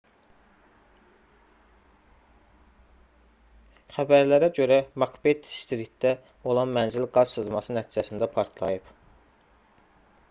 xəbərlərə görə makbet-stritdə olan mənzil qaz sızması nəticəsində partlayıb